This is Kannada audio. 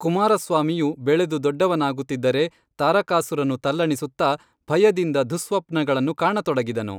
ಕುಮಾರ ಸ್ವಾಮಿಯು ಬೆಳೆದು ದೊಡ್ಡವನಾಗುತ್ತಿದ್ದರೆ ತಾರಕಾಸುರನು ತಲ್ಲಣಿಸುತ್ತಾ ಭಯದಿಂದ ದುಃಸ್ವಪ್ನಗಳನ್ನು ಕಾಣತೊಡಗಿದನು